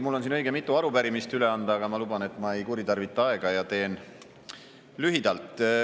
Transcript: Mul on siin õige mitu arupärimist üle anda, aga ma luban, et ma ei kuritarvita teie aega ja teen lühidalt.